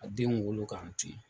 Ka denw wolo k'an tun ye.